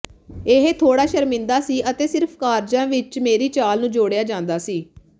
ਇਹ ਥੋੜ੍ਹਾ ਸ਼ਰਮਿੰਦਾ ਸੀ ਅਤੇ ਸਿਰਫ ਕਾਰਜਾਂ ਵਿੱਚ ਮੇਰੀ ਚਾਲ ਨੂੰ ਜੋੜਿਆ ਜਾਂਦਾ ਸੀ